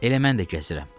Elə mən də gəzirəm.